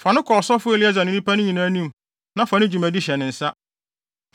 Fa no kɔ ɔsɔfo Eleasar ne nnipa no nyinaa anim na fa ne dwumadi hyɛ ne nsa.